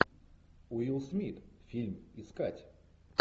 уилл смит фильм искать